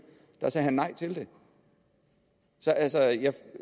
sagde han nej til det så